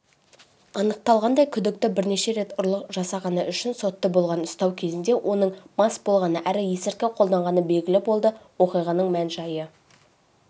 анықталғандай күдікті бірнеше рет ұрлық жасағаны үшін сотты болған ұстау кезінде оның мас болғаны әрі есіркі қолданғаны белгілі болды оқиғаның мән-жайы